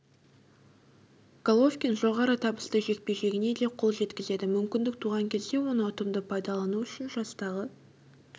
головкин жоғары табысты жекпе-жегіне де қол жеткізеді мүмкіндік туған кезде оны ұтымды пайдалану үшін жастағы